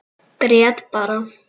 Grét bara.